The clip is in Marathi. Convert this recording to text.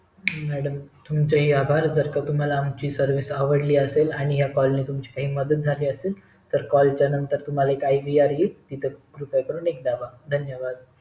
madam तुमचे हि आभार जर का तुम्हाला आमची Service आवडली असेल आणि या call नी तुमची काही मदत झाली असेल तर call च्या नंतर तुम्हाला एक IBR येईल तिथे एक दाबा धन्यवाद!